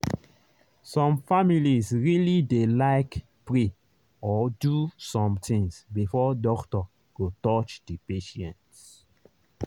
some families really dey like pray or do some things before doctor go touch the patient.